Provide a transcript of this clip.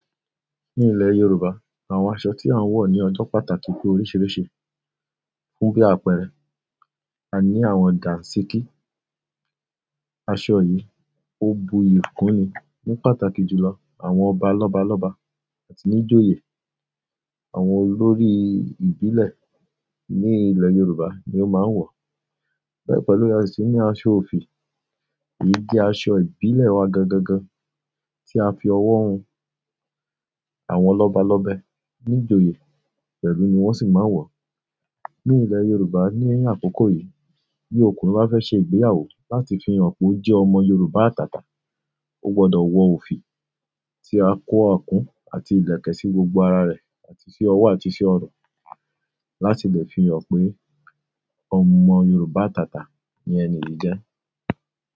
Ní ilẹ̀ Yorùbá, àwọn aṣọ tí a ń wọ̀ ní ọjọ́ pàtàkì pé oríṣiríṣi. Fún bí àpẹẹrẹ, a ní àwọn dàǹsíki, aṣọ yìí, ó bu iyòkùn ni ní pàtàkì jùlọ àwọn ọba lọ́balọ́ba àti níjoyè àwọn olórí ìbílẹ̀ ní ilẹ̀ Yorùbá ni ó máa ń wọ̀. Bẹ́ẹ̀ pẹ̀lú, a sì ní aṣọ òfì, èyí jẹ́ aṣọ ìbílẹ̀ wa gangan gan tí a fi ọwọ́ hun àwọn lọ́balọ́bẹ níjoyè pẹ̀lú ni wọ́n sì máa ń wọ̀. Ní ilẹ̀ Yorùbá ní ẹyin àkọ́kọ́ yìí, bí ọkùnrin bá fẹ́ ṣe ìgbéyàwó láti fi hàn pé ó jẹ́ ọmọ Yorùbá àtàtà, ó gbọdọ̀ wọ òfì ti á kó ọkùn àti ìlẹ̀kẹ̀ sí gbogbo ara rẹ̀ àti fi ọwọ́ àti fi ọ̀rọ̀ láti lè fi hàn pé ọmọ Yorùbá àtàtà ni ẹni yìí jẹ́.